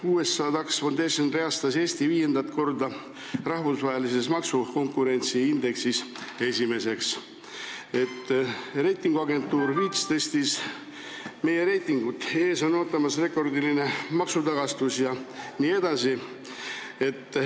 USA Tax Foundation reastas Eesti rahvusvahelises maksukonkurentsi indeksis viiendat korda esimeseks, reitinguagentuur Fitch tõstis meie reitingut, ees on ootamas rekordiline maksutagastus jne.